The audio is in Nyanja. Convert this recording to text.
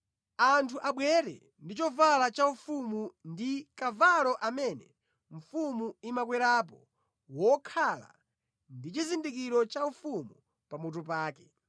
Anthu abwere ndi chovala cha ufumu ndi kavalo amene mfumu imakwerapo wokhala ndi chizindikiro chaufumu pamutu pake.